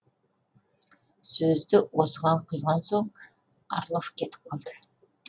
сөзді осыған құйған соң орлов кетіп қалды